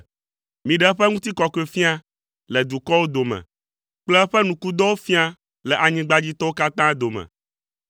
Miɖe eƒe Ŋutikɔkɔefia le dukɔwo dome kple eƒe nukudɔwo fia le anyigbadzitɔwo katã dome.